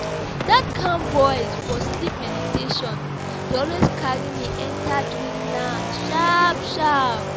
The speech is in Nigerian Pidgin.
That calm voice for sleep meditation dey always carry me enter dreamland sharp sharp.